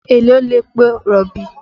Èló lepo rọ̀bì?